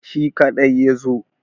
Shi kaɗai ya zo.